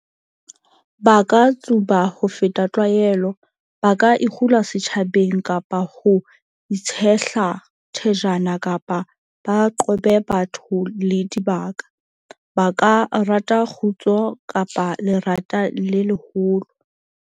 Ba ka tsuba ho feta tlwaelo, ba ka ikgula setjhabeng kapa ba itshehla thajana kapa ba qobe batho le dibaka. Ba ka rata kgutso kapa lerata le leholo.